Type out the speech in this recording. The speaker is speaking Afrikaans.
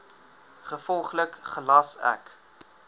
gevolglik gelas ek